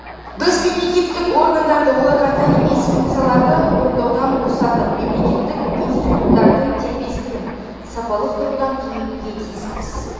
біз мемлекеттік органдарды оларға тән емес функцияларды орындаудан босатып мемлекеттік институттардың дербестігін сапалық тұрғыдан кеңейтуге тиіспіз